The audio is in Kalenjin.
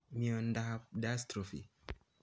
Miondap dystrophy